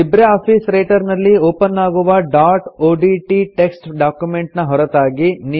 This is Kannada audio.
ಲಿಬ್ರೆ ಆಫೀಸ್ ರೈಟರ್ ನಲ್ಲಿ ಒಪನ್ ಆಗುವ ಡಾಟ್ ಒಡಿಟಿ ಟೆಕ್ಸ್ಟ್ ಡಾಕ್ಯುಮೆಂಟ್ ನ ಹೊರತಾಗಿ